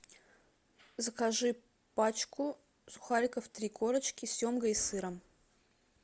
закажи пачку сухариков три корочки с семгой и сыром